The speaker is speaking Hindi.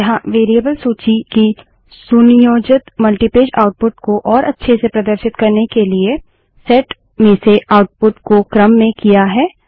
यहाँ वेरिएबल सूची की सुनियोजित मल्टीपेज आउटपुट को और अच्छे से प्रदर्शित करने के लिए सेट में से आउटपुट को क्रम में किया है